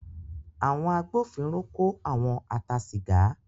Àwọn agbófinró kó àwọn a ta sìgá.